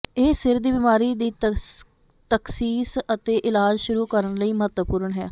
ਇਹ ਸਿਰ ਦੀ ਬਿਮਾਰੀ ਦੀ ਤਖਸ਼ੀਸ ਅਤੇ ਇਲਾਜ ਸ਼ੁਰੂ ਕਰਨ ਲਈ ਮਹੱਤਵਪੂਰਨ ਹੈ